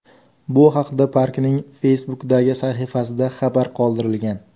Bu haqda parkning Facebook’dagi sahifasida xabar qoldirilgan .